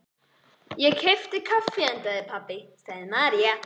Ég keypti kaffi handa þér, pabbi, sagði María.